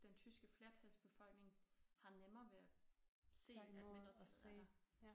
Den tyske flertalsbefolkning har nemmere ved at se at mindretallet er der